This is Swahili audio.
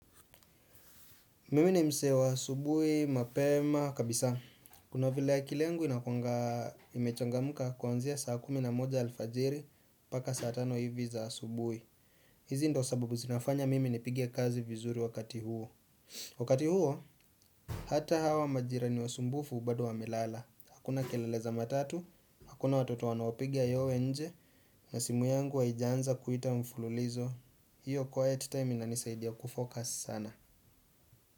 Mimi ni msee wa asubuhi, mapema, kabisa. Kuna vile akili yangu inakuwanga imechangamka kuanzia saa kumi na moja alfajiri mpaka saa tano hivi za asubuhi. Hizi ndo sababu zinafanya mimi nipigie kazi vizuri wakati huo. Wakati huo, hata hawa majirani wasumbufu bado wamelala. Hakuna kelele za matatu, hakuna watoto wanaopiga yowe nje, na simu yangu haijaanza kuita mfululizo. Hiyo quiet time inanisaidia kufocus sana.